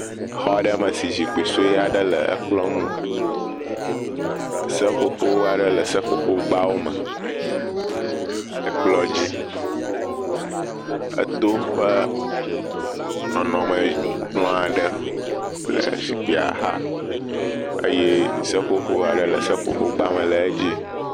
Exɔ aɖe me si zikpui sue aɖe le ekplɔ eŋu, seƒoƒo aɖe seƒoƒogbawo me le kplɔ dzi, eto ƒe nɔnɔme kplɔ aɖe le zikpuia xa, eye seƒoƒoƒo aɖe le seƒoƒogba me le edzi.